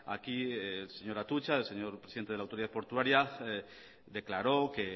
aquí el señor atutxa el señor presidente de la autoridad portuaria declaró que